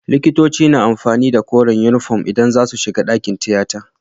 Likitoci na amfani da koren inufom idan zasu shiga dakin tiyata